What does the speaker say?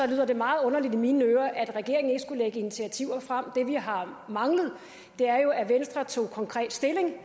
lyder det meget underligt i mine ører at regeringen ikke skulle lægge initiativer frem det vi har manglet er jo at venstre tog konkret stilling